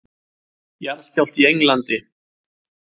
Jarðskjálfti í Englandi